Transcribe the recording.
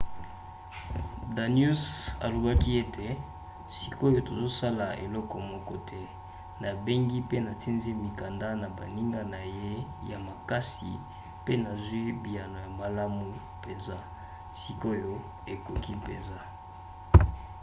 danius alobaki ete sikoyo tozosala eloko moko te. nabengi mpe natindi mikanda na baninga na ye ya makasi mpe nazwi biyano ya malamu mpenza. sikoyo ekoki mpenza